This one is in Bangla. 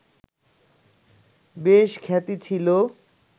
বেশ খ্যাতি ছিল